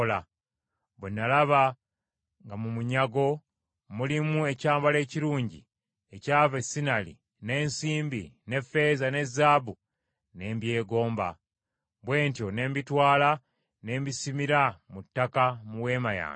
Bwe nalaba nga mu munyago mulimu ekyambalo ekirungi ekyava e Sinaali n’ensimbi, n’effeeza ne zaabu ne mbyegomba, bwe ntyo ne mbitwala ne mbisimira mu ttaka mu weema yange.”